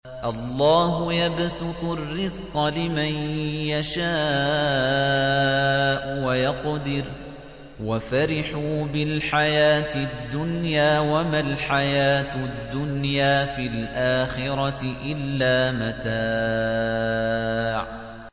اللَّهُ يَبْسُطُ الرِّزْقَ لِمَن يَشَاءُ وَيَقْدِرُ ۚ وَفَرِحُوا بِالْحَيَاةِ الدُّنْيَا وَمَا الْحَيَاةُ الدُّنْيَا فِي الْآخِرَةِ إِلَّا مَتَاعٌ